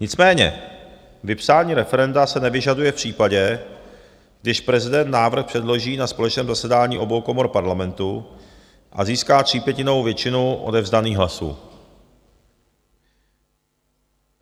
Nicméně vypsání referenda se nevyžaduje v případě, když prezident návrh předloží na společném zasedání obou komor parlamentu a získá třípětinovou většinu odevzdaných hlasů.